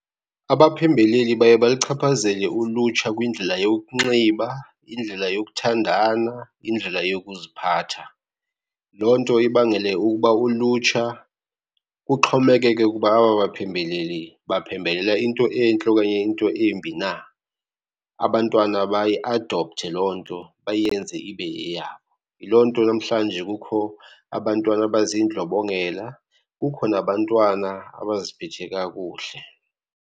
Abaphembeleli baye balichaphazele ulutsha kwindlela yokunxiba, indlela yokuthandana, indlela yokuziphatha. Loo nto ibangele ukuba ulutsha kuxhomekeke ukuba aba baphembeleli baphembelela into entle okanye into embi na. Abantwana bayiadopthe loo nto, bayenze ibe yeyabo. Yiloo nto namhlanje kukho abantwana abazindlobongela, kukho nabantwana abaziphethe kakuhle.